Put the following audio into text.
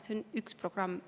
See on üks programm.